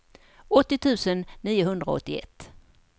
åttio tusen niohundraåttioett